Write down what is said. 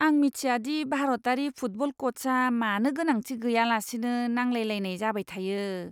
आं मिथिया दि भारतारि फुटबल क'चआ मानो गोनांथि गैयालासेनो नांलायलायनाय जाबाय थायो!